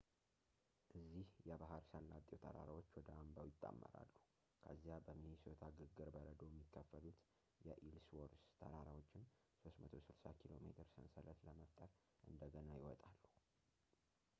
እዚህ የባህር ሰላጤው ተራራዎች ወደ አምባው ይጣመራሉ ከዚያ በሚኒሶታ ግግር በረዶ የሚከፈሉት የኢልስዎርዝ ተራራዎችን 360 ኬሜ ሰንሰለት ለመፍጠር እንደገና ይወጣሉ